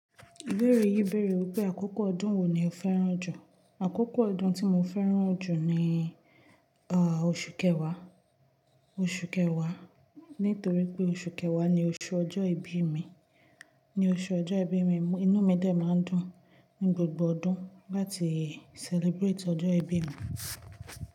Ìbéèrè yìí bẹ̀rẹ̀ wípé àkókò ọdún wo ni o fẹ́ràn jù. Àkókò ọdún tí mo fẹ́ràn jù ni, ah, oṣù kẹwàá, oṣù kẹwàá. Nítorí pé oṣù kẹwàá ni oṣù ọjọ́ ìbí mi, ni oṣù ọjọ́ ìbí mi. Inú mi dẹ máa ń dùn ní gbogbo ọdún láti celebrate ọjọ́ ìbí mi.